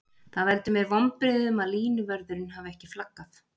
Það veldur mér vonbrigðum að línuvörðurinn hafi ekki flaggað.